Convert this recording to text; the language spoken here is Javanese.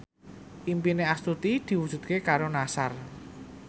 impine Astuti diwujudke karo Nassar